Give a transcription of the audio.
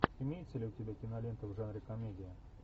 имеется ли у тебя кинолента в жанре комедия